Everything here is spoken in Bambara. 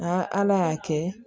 ala y'a kɛ